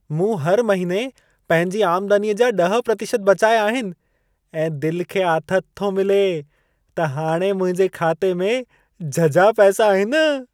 मूं हर महिने पंहिंजी आमदनीअ जा 10% बचाया आहिन ऐं दिल खे आथत थो मिले त हाणे मुंहिंजे खाते में झझा पैसा आहिन।